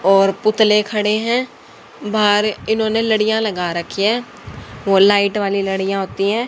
और पुतले खड़े हैं बाहर इन्होंने लड़ियां लगा रखी हैं वो लाइट वाली लड़ियां होती हैं।